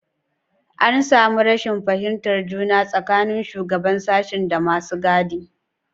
An samu rashin fahimtar juna tsakanin shugaban sashen da masu gadi.